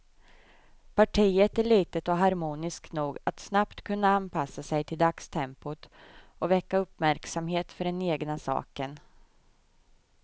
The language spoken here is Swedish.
Partiet är litet och harmoniskt nog att snabbt kunna anpassa sig till dagstempot och väcka uppmärksamhet för den egna saken.